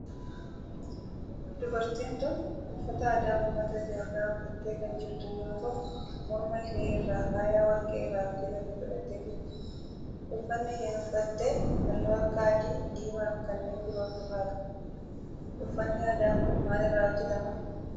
Dubartin tun uffata aadaa ummata Itiyoophiyaa uffattee kan jirtu yoo ta'u morma ishee irraa faaya warqee irraa hojjetame godhattee jirti. Uffanni isheen uffatte halluu akka adii, diimaa fi kanneen biroo of irraa qaba. Uffanni aadaa kun maal irraa hojjetama?